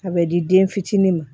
A bɛ di den fitinin ma